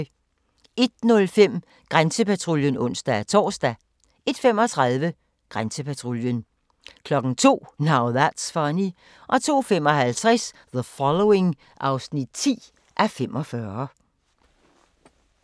01:05: Grænsepatruljen (ons-tor) 01:35: Grænsepatruljen 02:00: Now That's Funny 02:55: The Following (10:45)